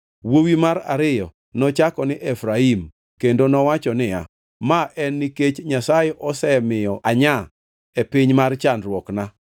Wuowi mar ariyo nochako ni Efraim kendo nowacho niya, “Ma en nikech Nyasaye osemiyo anya e piny mar chandruokna.”